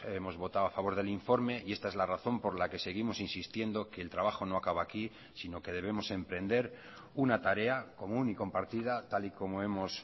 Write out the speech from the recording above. hemos votado a favor del informe y esta es la razón por la que seguimos insistiendo que el trabajo no acaba aquí sino que debemos emprender una tarea común y compartida tal y como hemos